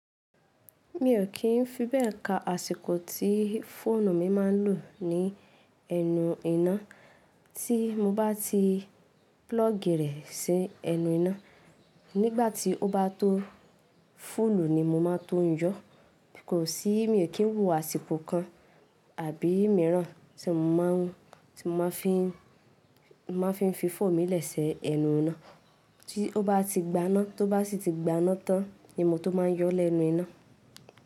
Mi ò kí ń fi bẹ́ẹ̀ ka àsìkò tí fóònù mi máa ń lò ní ẹnu iná tí mo bá ti púlọ́ọ̀gì rẹ̀ sí ẹnu iná. Nígbà tí ó bá tó fúùlù ni mo máa tún yọ. Kò sí, mi ò kí ń wọ àsìkò kan àbí mìíràn tí mo máa fín fi fóònù mi lẹ́ si ẹnu iná. Tí ó bá ti gbaná, tó bá ti ti gbaná tán ni mo tó máa n yọ ó lẹ́nu iná.